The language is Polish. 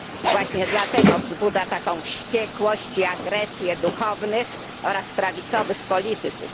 Właśnie dlatego wzbudza taką wściekłość i agresję duchownych oraz prawicowych polityków.